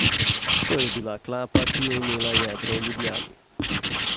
To je bila klapa, ki je imela jedro v Ljubljani.